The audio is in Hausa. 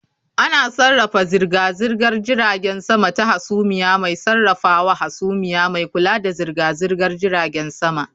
Ana sarrafa zirga-zirgar jiragen sama ta hasumiya mai sarrafawa hasumiya mai kula da zirga-zirgar jiragen sama